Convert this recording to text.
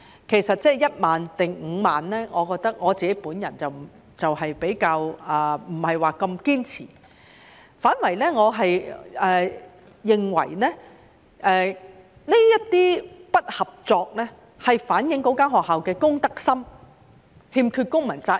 其實，對於是1萬元或5萬元，我比較不太堅持，我反而認為這些不合作是反映該學校的公德心，欠缺公民責任。